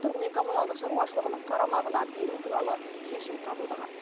тұрғын үй коммуналдық шаруашылығының қарамағына беру туралы шешім қабылдаған